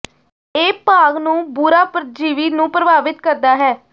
ਇਹ ਭਾਗ ਨੂੰ ਬੁਰਾ ਪਰਜੀਵੀ ਨੂੰ ਪ੍ਰਭਾਵਿਤ ਕਰਦਾ ਹੈ